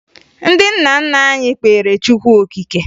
Ndị nna nna anyị kpeere Chukwu okike